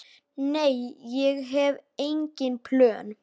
Nei, ég hef engin plön.